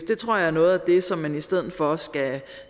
det tror jeg er noget af det som man i stedet for skal